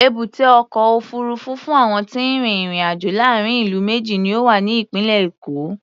Èbúté ọkọ̀ òfuurufú fún àwọn tí ń rin ìrìn-àjò láàárín ìlú méjì ni ó wà ní ìpínlẹ̀ Èkó.